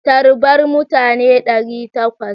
Tarbar mutane ɗari takwas!